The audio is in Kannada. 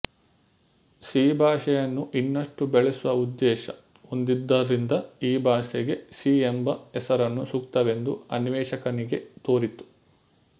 ಸಿ ಭಾಷೆಯನ್ನು ಇನ್ನಷ್ಟು ಬೆಳೆಸುವ ಉದ್ದೇಶ ಹೊಂದಿದ್ದರಿಂದ ಈ ಭಾಷೆಗೆ ಸಿ ಎಂಬ ಹೆಸರನ್ನು ಸೂಕ್ತವೆಂದು ಅನ್ವೇಷಕನಿಗೆ ತೋರಿತು